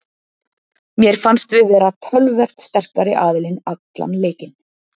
Mér fannst við vera töluvert sterkari aðilinn allan leikinn.